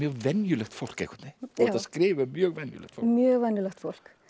venjulegt fólk einhvern veginn þú ert að skrifa um mjög venjulegt fólk mjög venjulegt fólk